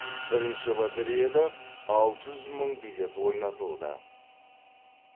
бірінші лотереяда алты жүз мың билет ойнатылды